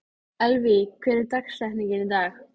Elvý, hver er dagsetningin í dag?